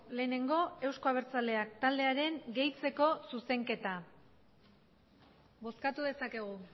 lehenengo euzko abertzaleak taldearen gehitzeko zuzenketa bozkatu dezakegu